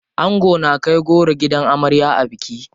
Ango na kai goro gidan amarya a biki.